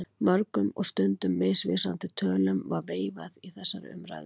Mörgum og stundum misvísandi tölum var veifað í þessari umræðu.